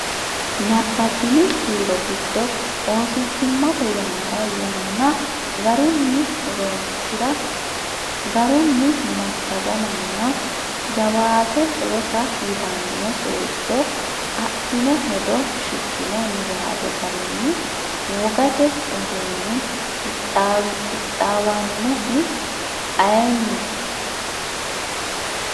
Nabbabbini kiiro giddo oosichimmate yannara yanna garunni roonsi’ra, garunni massagamanna jawaate rosa yitanno seejjo addino hedo, Shiqqino niwaawe garinni wogate uduunni qixxaawannohu ayeenni?